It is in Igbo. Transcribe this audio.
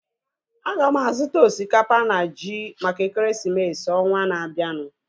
Aga m azuta osikapa na ji maka ekeresimesi ọnwaa na-abianu